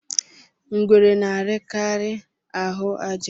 Ngwere na-arikari ahụ àjà